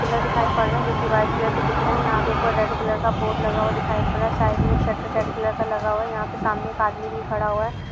Pillar दिखाई पड़ रहा है जो कि व्हाइट कलर के दिख रहे हैं। यहाँ पे ऊपर रेड कलर का बोर्ड लगा हुआ दिखाई पड़ रहा है। साइड में एक शटर रेड कलर का लगा हुआ है। यहाँ पे सामने एक आदमी भी खड़ा हुआ है।